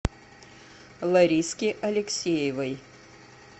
лариске алексеевой